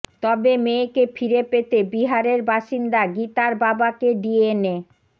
তবে মেয়েকে ফিরে পেতে বিহারের বাসিন্দা গীতার বাবাকে ডিএনএ